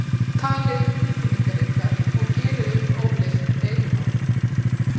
Talið um tilfinningar ykkar og gerið upp óleyst deilumál.